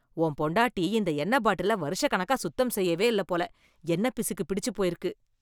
உன் பொண்டாட்டி, இந்த எண்ணெய் பாட்டிலை வருஷக்கணக்கா சுத்தம் செய்யவேயில்ல போல... எண்ணெய்ப்பிசுக்கு பிடிச்சு போயிருக்கு.